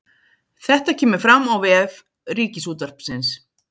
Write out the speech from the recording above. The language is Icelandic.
Þetta kemur fram á vef Ríkisútvarpsins